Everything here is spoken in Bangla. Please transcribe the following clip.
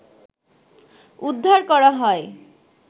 উদ্ধার করা হয়